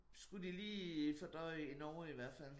Skulle de lige fordøje i Norge i hvert fald